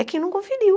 É quem não conferiu.